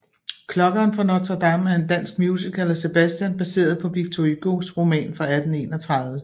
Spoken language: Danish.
Klokkeren fra Notre Dame er en dansk musical af Sebastian baseret på Victor Hugos roman fra 1831